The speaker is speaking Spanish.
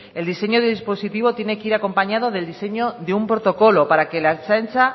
el diseño del dispositivo tiene que ir acompañado del diseño de un protocolo para que la ertzaintza